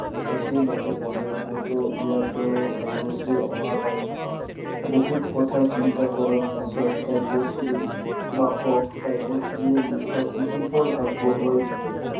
কাব্যশ্ৰীৰ মাকে কলে কতো ইয়াতো কাব্যশ্ৰী অহা নাই। বহুত কথা চিন্তা কৰাৰ পিছত কাব্যশ্ৰীৰ মাকক কাব্যশ্ৰীয়ে লিখা চিঠিখন আগবঢ়োৱাই দিলে।